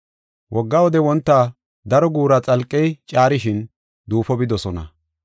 Wogga wode wonta daro guura xalqey caarishin, duufo bidosona.